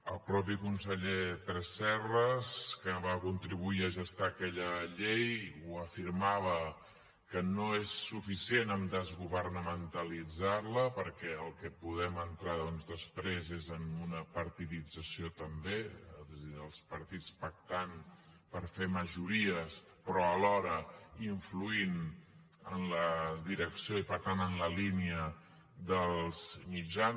el mateix conseller tresserras que va contribuir a gestar aquella llei ho afirmava que no és suficient desgovernamentalitzar la perquè en el que podem entrar doncs després és en una partidització també és a dir els partits pactant per fer majories però alhora influint en la direcció i per tant en la línia dels mitjans